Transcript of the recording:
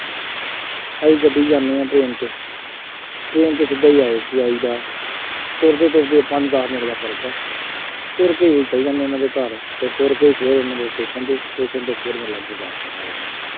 ਅਸੀਂ ਗੱਡੀ ਚ ਜਾਂਦੇ ਹਾਂ train ਚ train ਚ ਸਿੱਧਾ ਹੀ ਆਈ ਜਾਈਦਾ, ਤੁਰਦੇ ਤੁਰਦੇ ਪੰਜ ਦੱਸ ਮਿੰਟ ਦਾ ਫਰਕ ਹੈ, ਤੁਰ ਕੇ ਹੀ ਚੱਲ ਜਾਂਦੇ ਆ ਉਹਨਾ ਦੇ ਘਰ ਅਤੇ ਤੁਰ ਕੇ ਫੇਰ ਉਹਨਾ ਤੋਂ ਸਟੇਸ਼ਨ ਤੇ, ਸਟੇਸ਼ਨ ਤੋਂ ਫੇਰ ਗੁਰਦਾਸਪੁਰ ਆ ਜਾਈਦਾ।